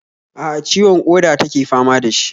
A'a, ciwon ƙoda take fama da shi